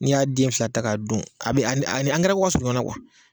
N'i y'a den fila ta k'a dun a bi ani ka surun ɲɔgɔn na